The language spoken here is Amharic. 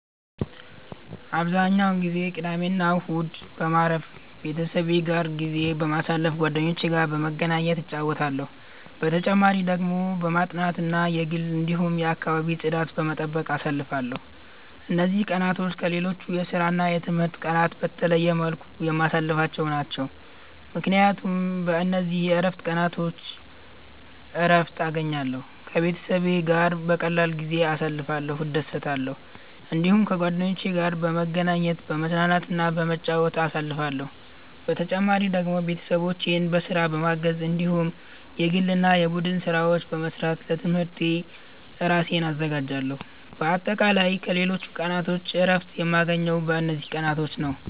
አብዛኛውን ጊዜ ቅዳሜና እሁድን በማረፍ፣ ቤተሰቤ ጋር ጊዜ በማሳለፋ ጓደኞቼ ጋር በመገናኘት እጫወታለሁ። በተጨማሪ ደግሞ በማጥናት እና የግል እንዲሁም የአከባቢ ጽዳት በመጠበቅ አሳልፍለሁ። እነዚህ ቀናት ከሌሎች የስራና የትምህርት ቀናት በተለየ መልኩ የማሳልፍቸው ናቸው፣ ምክንያቱም በእነዚህ የእረፍት ቀናቾች እረትን እገኛለሁ። ከቤተሰቤ ጋር በቀላሉ ጊዜ እያሳለፍኩ እደሰታለሁ። እዲሁም ከጓደኞቼ ጋር በመገናኘት፤ በመዝናናትና በመጫወት አሳልፍለሁ። በተጨማሪ ደግሞ ቤተሰቦቼን በስራ በማገዝ እንዲሁም የግል እና የቡድን ስራዎች በመስራት ለትምህርቴ እራሴን አዘጋጃለሁ። በአጠቃላይ ከሌሎች ቀናቶች እረፍት የማገኘው በእነዚህ ቀናቶች ነዉ።